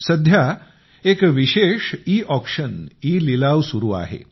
सध्या एक विशेष ई ऑक्शन ई लिलाव चालू आहे